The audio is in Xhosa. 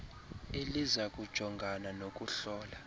eliza kujongana nokuhlola